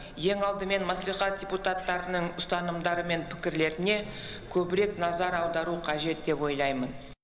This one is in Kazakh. ең алдымен мәслихат депутаттарының ұстанымдары мен пікірлеріне көбірек назар аудару қажет деп ойлаймын